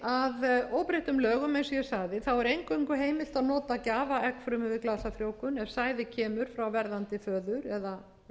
að óbreyttum lögum eins og ég sagði er eingöngu heimilt að nota gjafaeggfrumu við glasafrjóvgun ef sæði kemur frá verðandi föður eða